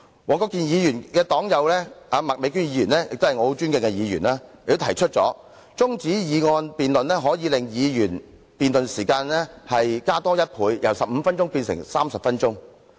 黃國健議員的黨友麥美娟議員亦是我尊敬的議員，她亦表示提出中止待續的議案可以令議員辯論的時間增加1倍，由15分鐘變為30分鐘。